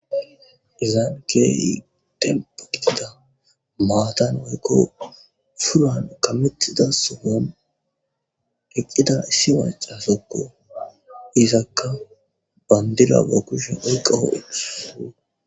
Izaankeyi tempa qitida maatan woykko furan kametida sogon eqqida issi macasokko izakka bandira ba kushen uyqahoe.